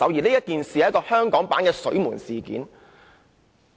這次根本是香港版本的"水門事件"。